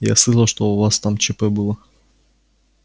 я слышал у вас там чп было